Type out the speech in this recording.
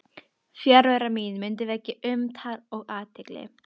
Fjarvera mín mundi vekja umtal og athygli.